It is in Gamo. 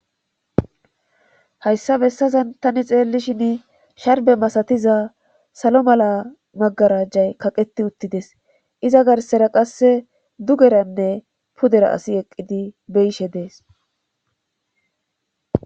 Hayssa bessazan tani xeellishin sharbe masatiza salo mala magarajjay kaqeti uttides iza garsera qasse dugeranne pudera asi eqqidi beyishe dees.